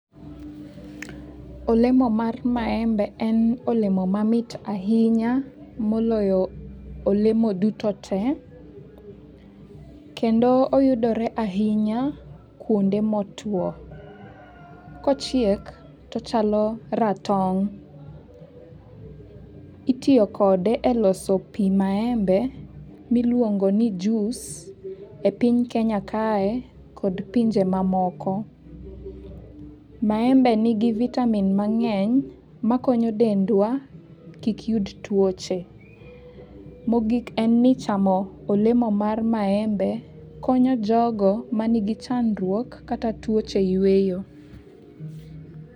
Olemo mar maembe en olemo mamit ahinya moloyo olemo duto te, kendo oyudore ahinya kuonde motuo. Kochiek tochalo ratong, itiyokode e loso pi maembe miluongo ni juice e piny Kenya kae kod pinje mamoko. Maembe nigi vitamin mang'eny makonyo dendwa kik yud tuoche. Mogik en ni chamo olemo mar maembe konyo jogo ma nigi chandruok kata tuoche yweyo.